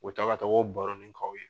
U bɛ taa ka taa o baronin k'aw ye.